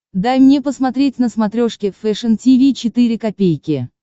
дай мне посмотреть на смотрешке фэшн ти ви четыре ка